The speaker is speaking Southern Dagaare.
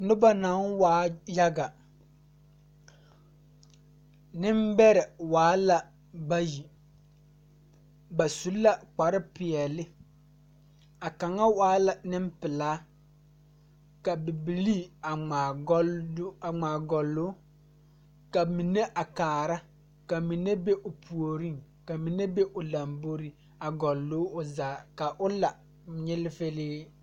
Nobɔ naŋ waa yaga neŋbɛrɛ waa la bayi ba su la koare peɛɛle a kaŋa waa la neŋpilaa ka bibilii a ngmaa gɔllɔɔ ka mine a kaara ka mine be o puoriŋ ka mine be o lamboreŋ a gɔllɔɔ o zaa ka o la nyilifilee.